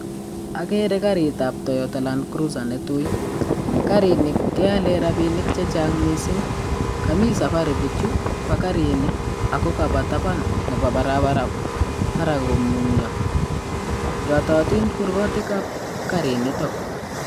Okere karit ab toyota landcrusher netui karini keolen rabinik chechang missing, komii safari bijuu bo karini ako kaba taban nebo barabara takomunyoo yototin gurkonok ab karinitok.